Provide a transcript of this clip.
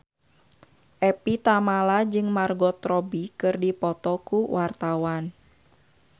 Evie Tamala jeung Margot Robbie keur dipoto ku wartawan